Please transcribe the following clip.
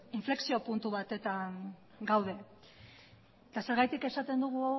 inflexio puntu batetan gaude eta zergatik esaten dugu